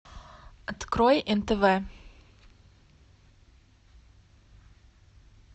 открой нтв